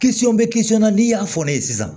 bɛ na n'i y'a fɔ ne ye sisan